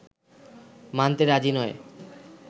মানতে রাজি নয়